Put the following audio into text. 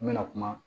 N bɛna kuma